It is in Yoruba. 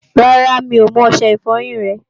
Rárá, mi ò mú ọṣẹ ìfọyín rẹ